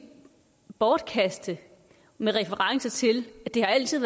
bortkaste med reference til at det altid